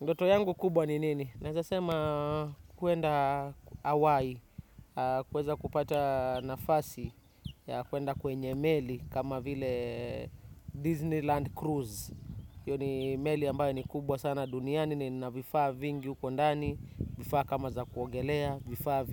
Ndoto yangu kubwa ni nini? Naeza sema kuenda hawai, kuweza kupata nafasi, ya kuenda kwenye meli kama vile Disneyland Cruise. Hiyo ni meli ambayo ni kubwa sana duniani, ni ina vifaa vingi huko ndani, vifaa kama za kuongelea, vifaa